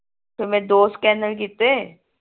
ਤੇ ਮੈਂ ਦੋ scanner ਕੀਤੇ